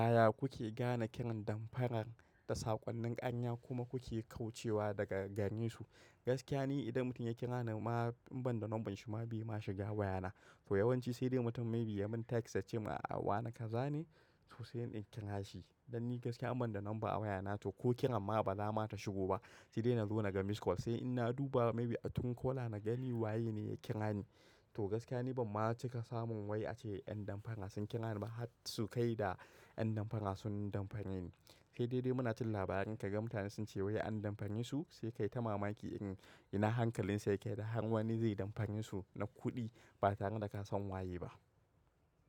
Yaya kuke gane kiran damfarar da saƙonnin ƙarya kuma kuke kaucewa daga garesu? Gaskiya ni idan mutum ya kira ni ma in ban da lambar shi ma bai ma shiga wayana. To yawanci sai dai mutum maybe ya mun text ya ce ma a'a wane kaza ne to sai in kira shi. Danni gaskiya in ban da nomba a waya na to ko kiran ma ba za ta shigo ba. Sai dai na zo na ga missed call sai in na duba maybe a truecaller na gani waye ne ya kira ni. To gaskiya ni ban ma cika samun wai ace ƴan damfara sun kira ni ba har su kai da ƴan damfara sun damfareni. Sai dai dai muna jin labarai ka ga mutane sun ce wai an damfaresu. Sai kai ta mamaki irin ina hankalin su yake da har wani zai damfaresu na kuɗi ba tare da ka san waye ba.